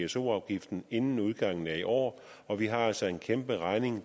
pso afgiften inden udgangen af i år og vi har altså en kæmperegning